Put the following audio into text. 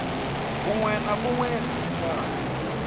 vhunwe na vhunwe ha lifhasi